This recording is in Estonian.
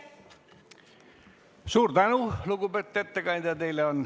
Suur tänu, lugupeetud ettekandja!